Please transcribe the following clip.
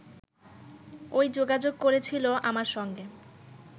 ও-ই যোগাযোগ করেছিল আমার সঙ্গে